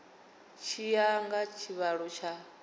tshi ya nga tshivhalo tsha